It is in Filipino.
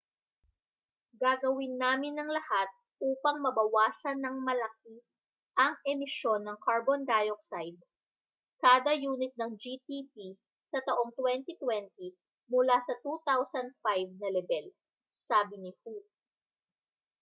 gagawin namin ang lahat upang mabawasan nang malaki ang emisyon ng carbon dioxide kada yunit ng gdp sa taong 2020 mula sa 2005 na lebel sabi ni hu